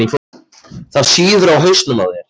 Það sýður á hausnum á þér!